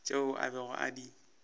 tšeo a bego a di